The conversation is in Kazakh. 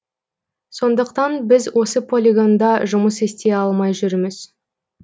сондықтан біз осы полигонда жұмыс істей алмай жүрміз